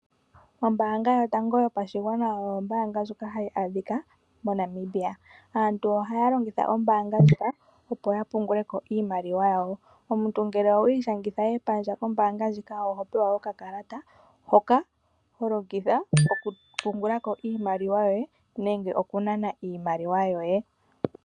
Ombaanga yotango yopashigwana oyo ombaanga ndjoka hayi adhika moNamibia. Aantu ohaya longitha ombaanga ndjika opo ya punguleko iimaliwaa yawo. Omuntu ngele owa ishangitha epandja kombaanga oho pewa oka kalata, hoka holongitha oku pungulako iimaliwa yoye nenge oku nana iimaliwa yoye.